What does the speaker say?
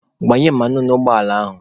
Gbanye mmanụ n'ụgbọ ala ahụ!